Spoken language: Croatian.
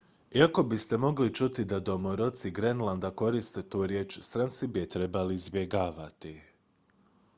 iako biste mogli čuti da domoroci grenlanda koriste tu riječ stranci bi je trebali izbjegavati